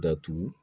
Datugu